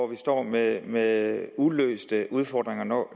vi står med med uløste udfordringer når